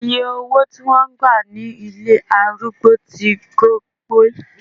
Iye owó tí wón gbà ní ilé arúgbó tí gọbọi.